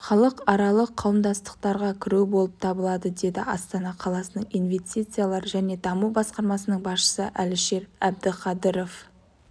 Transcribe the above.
халықаралық қауымдастықтарға кіру болып табылады деді астана қаласының инвестициялар және даму басқармасының басшысы әлішер әбдіқадыров